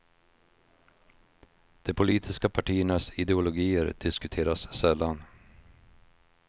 De politiska partiernas ideologier diskuteras sällan.